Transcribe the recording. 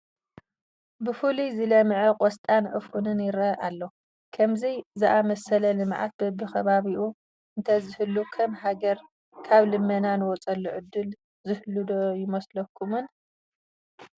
ብፍሉይ ዝለምዐ ቆስጣን ዑፉንን ይርአ ኣሎ፡፡ ከምዚ ዝኣምሰለ ልምዓት በብኸባቢኡ እንተዝህሉ ከም ሃገር ካብ ልመና ንወፀሉ ዕድል ዝህሉ ዶ ኣይመስለኩምን?